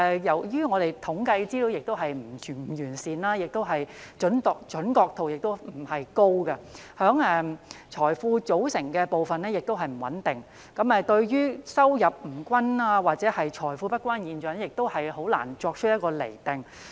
由於我們的統計資料不完善，準確度不高，財富組成部分的數字亦不穩定，故此，對於收入不均或財富不均的現象，我們難以作出釐定。